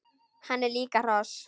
Hann er líka hross!